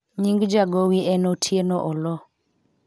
nying jagowi en Otieno Oloo